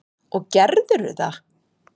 Og gerðirðu það?